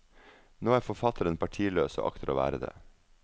Nå er forfatteren partiløs og akter å være det.